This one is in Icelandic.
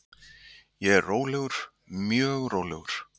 Ég er rólegur, mjög rólegur.